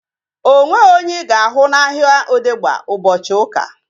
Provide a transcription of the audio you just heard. O nweghị onye ị ga-ahụ n'ahia Odegba ụbọchị ụka